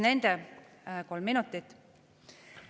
Palun kolm minutit juurde.